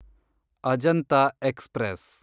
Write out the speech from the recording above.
Ajanta express